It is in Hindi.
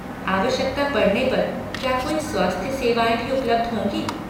आवश्यकता पड़ने पर क्या कोई स्वास्थ्य सेवाएँ भी उपलब्ध होंगी?